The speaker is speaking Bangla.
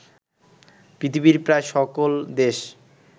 পৃথিবীর প্রায় সকল দেশ